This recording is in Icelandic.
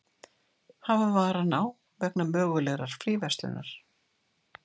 Hafa varann á vegna mögulegrar fríverslunar